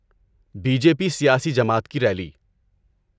Be J P سیاسی جماعت کی ریلی۔